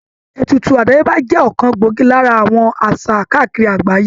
Ètùtù àdáyébá jẹ́ ọ̀kan gbòógì lára àwọn àṣà káàkiri àgbáyé